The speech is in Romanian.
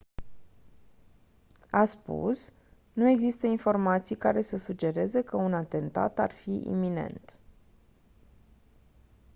a spus «nu există informații care să sugereze că un atentat ar fi iminent.»